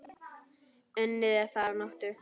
Unnið er þar að nóttu.